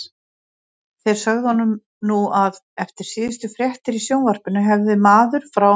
Þeir sögðu honum nú að eftir síðustu fréttir í sjónvarpinu hefði maður frá